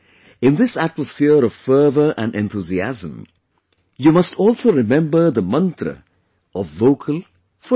In this atmosphere of fervour and enthusiasm, you must also remember the mantra of Vocal for Local